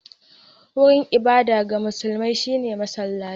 Wurin ibada ga musulmai shi ne masallaci